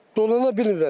Dolanana bilmirəm.